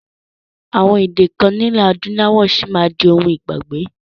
Àwọn èdè kan nilẹ adúláwọ̀ sì máa di òun ìgbàgbé